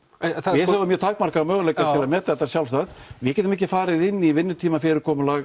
við höfum mjög takmarkaða möguleika til að meta þetta sjálfstætt við getum ekki farið inn í